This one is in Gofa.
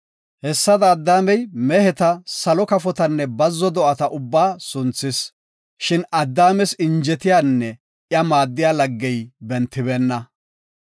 Hessadaka, Addaamey meheta, salo kafotanne bazzo do7ata ubbaa sunthis. Shin Addaames injetiyanne iya maaddiya laggey bentibeenna.